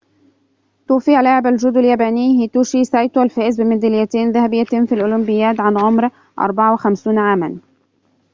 توفي لاعب الجودو الياباني هيتوشي سايتو الفائز بميداليتين ذهبيتين في الأولمبياد عن عمر 54 عامًا